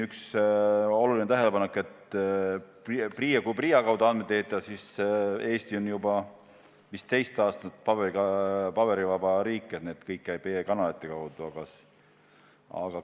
Üks oluline tähelepanek oli, et kui PRIA kaudu andmeid esitada, siis Eesti on juba teist aastat paberivaba riik, kõik käib e-kanalite kaudu.